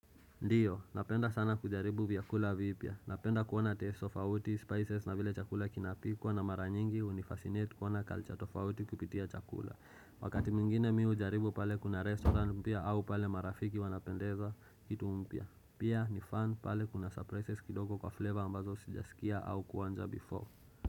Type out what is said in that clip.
Ndiyo, napenda sana kujaribu vyakula vipya. Napenda kuona taste of tofauti, spices na vile chakula kinapikwa na mara nyingi hunifascinate kuona culture tofauti kupitia chakula. Wakati mingine mi hujaribu pale kuna restaurant mpya au pale marafiki wanapendezwa kitu mpya. Pia ni fan pale kuna surprises kidoko kwa flavor ambazo sijasikia au kuonja before.